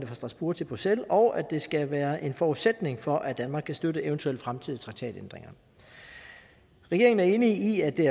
fra strasbourg til bruxelles og at det skal være en forudsætning for at danmark kan støtte eventuelle fremtidige traktatændringer regeringen er enig i at det